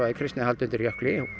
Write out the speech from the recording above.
Kristnihald undir jökli